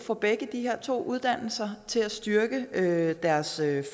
for begge de her to uddannelser til at styrke deres